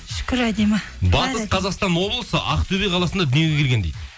шүкір әдемі батыс қазақстан облысы ақтөбе қаласында дүниеге келген дейді